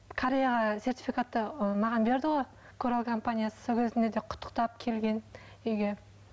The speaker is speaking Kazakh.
кореяға сертификатты ы маған берді ғой корал компаниясы сол кезінде де құттықтап келген үйге